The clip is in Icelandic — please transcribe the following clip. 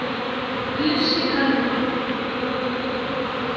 Bjössi kaldi.